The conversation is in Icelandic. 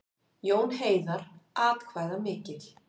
Jón Heiðar atkvæðamikill